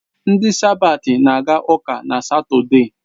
Ndị sabat na aga ụka na Satọde